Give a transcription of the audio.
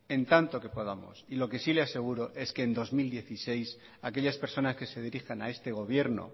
en tanto que podamos y lo que sí le aseguro es que en dos mil dieciséis aquellas personas que se dirijan a este gobierno